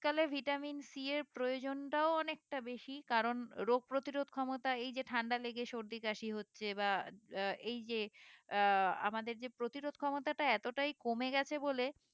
শীতকালে vitamin C এর প্রয়োজনটাও অনেকটা বেশি কারণ রোগ প্রতিরোধ ক্ষমতা এই যে ঠান্ডা লেগে সর্দি কাশি হচ্ছে বা আহ এই যে আহ আমাদের যে প্রতিরোধ ক্ষমতাটা এতটাই কমে গেছে বলে